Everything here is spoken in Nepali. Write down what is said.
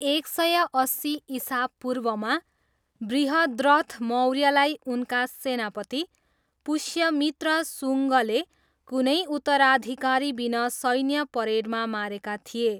एक सय अस्सी इसापूर्वमा, बृहद्रथ मौर्यलाई उनका सेनापति, पुष्यमित्र सुङ्गले कुनै उत्तराधिकारीबिना सैन्य परेडमा मारेका थिए।